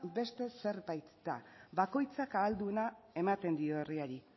beste zerbait da bakoitzak ahal duena ematen dio herriari